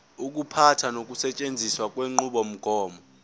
ukuphatha nokusetshenziswa kwenqubomgomo